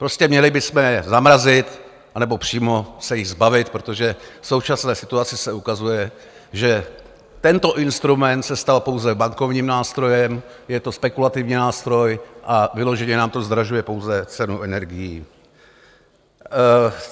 Prostě měli bychom je zamrazit, anebo přímo se jich zbavit, protože v současné situaci se ukazuje, že tento instrument se stal pouze bankovním nástrojem, je to spekulativní nástroj a vyloženě nám to zdražuje pouze cenu energií.